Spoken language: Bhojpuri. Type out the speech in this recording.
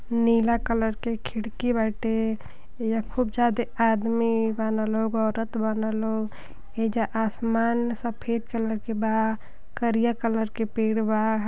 नीला कलर के खिड़की बाटे। एइजा ख़ूब ज्यादे आदमी बानअ लोग औरत बानअ लोग ए हिजा आसमान सफेद कलर के बा करिया कलर के पेड़ बा।